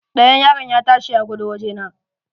Ɗayan yaron ya ta shi ya gudo wajena.